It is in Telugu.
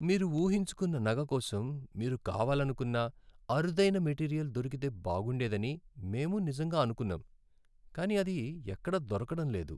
మీరు ఊహించుకున్న నగ కోసం మీరు కావాలనుకున్న అరుదైన మెటీరియల్ దొరకితే బాగుండేదని మేము నిజంగా అనుకున్నాం కానీ అది ఎక్కడా దొరకడంలేదు.